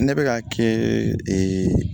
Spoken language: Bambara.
Ne bɛ ka kɛɛ